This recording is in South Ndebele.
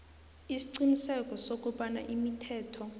isiqiniseko sokobana imithetho